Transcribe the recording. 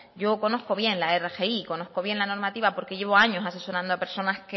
yo conozco bien la rgi conozco bien la normativa porque llevo años asesorando a personas